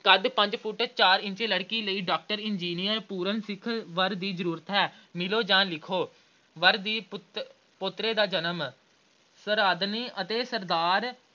ਕੱਦ ਪੰਜ ਫੁੱਟ ਚਾਰ ਇੰਚ ਲੜਕੀ ਲਈ doctor, engineer ਪੂਰਨ ਸਿੱਖ ਦੀ ਵਰ ਦੀ ਜ਼ਰੂਰਤ ਹੈ ਮਿਲੋ ਜਾਂ ਲਿਖੋ। ਵਰ ਦੀ ਪੁੱਤ ਅਹ ਪੋਤਰੇ ਦਾ ਜਨਮ, ਸਰਦਾਰਨੀ ਅਤੇ ਸਰਦਾਰ